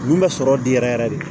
Mun bɛ sɔrɔ di yɛrɛ yɛrɛ de